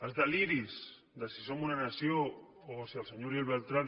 els deliris de si som una nació o de si el senyor uriel bertran